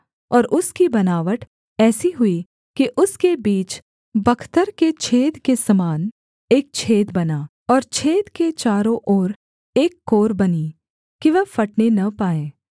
और उसकी बनावट ऐसी हुई कि उसके बीच बख्तर के छेद के समान एक छेद बना और छेद के चारों ओर एक कोर बनी कि वह फटने न पाए